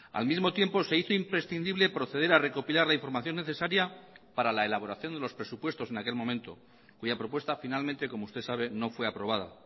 al mismo tiempo se hizo imprescindible proceder a recopilar la información necesaria para la elaboración de los presupuestos en aquel momento cuya propuesta finalmente como usted sabe no fue aprobada